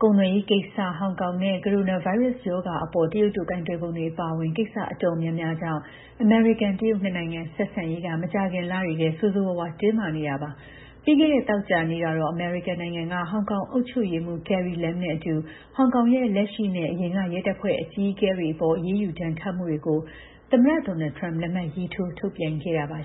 ဒဏ်ခတ်မှု အသေးစိတ် အချက်အလက်တွေကိုတော့ ရှင်းလင်းပြောကြားတာ မရှိပါဘူး။ ကုန်သွယ်ရေးကိစ္စ၊ ဟောင်ကောင်နဲ့ ကိုရိုနာဗိုင်းရပ်စ် ရောဂါအပေါ် တရုတ်တို့ ကိုင်တွယ်ပုံတွေ အပါအဝင် ကိစ္စ တော်တော် များများကြောင့် အမေရိကန် တရုတ် နှစ်နိုင်ငံ ဆက်ဆံရေးက မကြာခင်လတွေထဲ ဆိုးဆိုးရွားရွား တင်းမာနေတာပါ။ ပြီးခဲ့တဲ့ သောကြာနေ့ကတော့ အမေရိကန်နိုင်ငံက ဟောင်ကောင် အုပ်ချုပ်ရေးမှူး Carrie Lam နဲ့အတူ ဟောင်ကောင်ရဲ့ လက်ရှိနဲ့ အရင်က ရဲတပ်ဖွဲ့အကြီးအကဲတွေအပေါ် အရေးယူဒဏ်ခတ်မှုတွေကို သမ္မတ Donald Trump လက်မှတ်ရေးထိုးထုတ်ပြန်ခဲ့ပါ